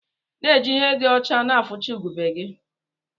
Na ejikwa ihe di ọcha na eficha ugegbe gi.